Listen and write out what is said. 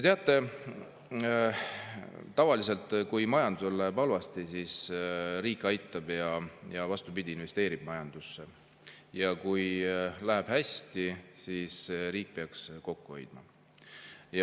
Teate, tavaliselt, kui majandusel läheb halvasti, siis riik aitab ja investeerib majandusse ning kui läheb hästi, siis riik peaks kokku hoidma.